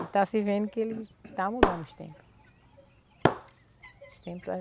E está se vendo que ele está mudando os tempo. Os tempo